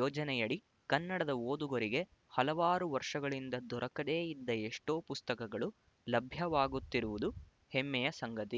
ಯೋಜನೆಯಡಿ ಕನ್ನಡ ಓದುಗರಿಗೆ ಹಲವಾರು ವರ್ಷಗಳಿಂದ ದೊರಕದೇ ಇದ್ದ ಎಷ್ಟೋ ಪುಸ್ತಕಗಳು ಲಭ್ಯವಾಗುತ್ತಿರುವುದು ಹೆಮ್ಮೆಯ ಸಂಗತಿ